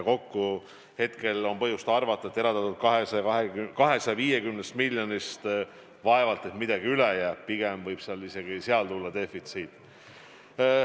Nii et on põhjust arvata, et eraldatud 250 miljonist vaevalt et midagi üle jääb, pigem võib isegi tulla defitsiit.